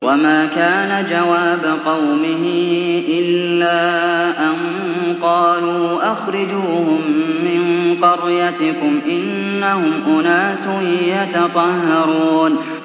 وَمَا كَانَ جَوَابَ قَوْمِهِ إِلَّا أَن قَالُوا أَخْرِجُوهُم مِّن قَرْيَتِكُمْ ۖ إِنَّهُمْ أُنَاسٌ يَتَطَهَّرُونَ